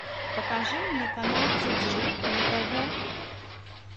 покажи мне канал тиджи на тв